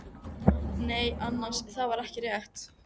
Nei annars, það var ekki rétt.